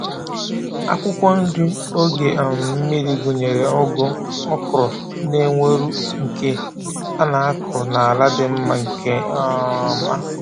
Akwụkwọ nri oge um mmiri gụnyere ugu, okra, na ewuro nke a na-akụ n’ala dị mma nke um ọma.